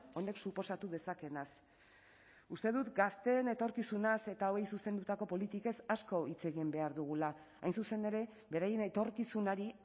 honek suposatu dezakeenaz uste dut gazteen etorkizunaz eta hauei zuzendutako politikez asko hitz egin behar dugula hain zuzen ere beraien etorkizunari